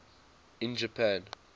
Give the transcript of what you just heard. in japan